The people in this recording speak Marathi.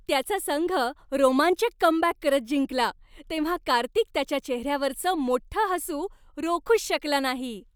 त्याचा संघ रोमांचक कमबॅक करत जिंकला तेव्हा कार्तिक त्याच्या चेहऱ्यावरचं मोठ्ठं हसू रोखूच शकला नाही.